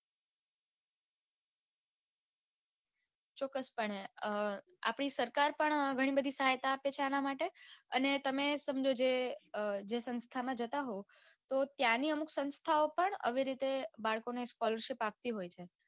ચોક્સપણે અ આપડી સરકાર પણ ઘણીબધી સહાયતા આપે છે આનામાટે અને તમે સમજો કે જે સંસ્થામાં જતા હોય તો ત્યાંની અમુક સંસ્થાઓ પણ આવી રીતે બાળકોને scholershipo આપતી હોય છે